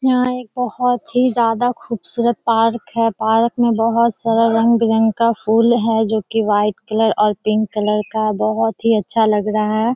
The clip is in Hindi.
यहाँ एक बहुत ही ज्यादा खूबसूरत पार्क है। पार्क में बहुत सारा रंग-बिरंग का फुल है जो की वाइट कलर और पिंक कलर का बहुत ही अच्छा लग रहा है।